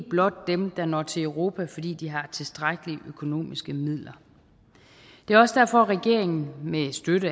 blot dem der når til europa fordi de har tilstrækkelige økonomiske midler det er også derfor regeringen med støtte